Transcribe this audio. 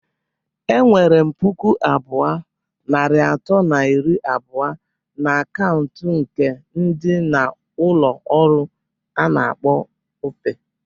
Enwerem puku abụọ, narị atọ na iri abụọ na akaụntụ nke ndi na ulo olu a na-akpọ Opay,